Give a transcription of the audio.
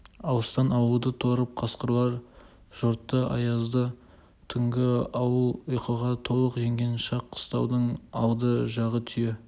алыстан ауылды торып қасқырлар жортты аязды түнгі ауыл ұйқыға толық енген шақ қыстаудың алды жағы түйе